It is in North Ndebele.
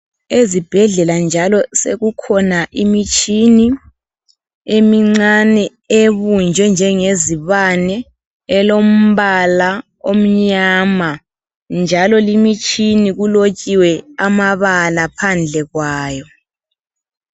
Ezibhedlela njalo sekukhona imitshini emincane ebunjwe njengezibane elombala omnyama njalo limitshini kulotshiwe amabala phandle kwayo.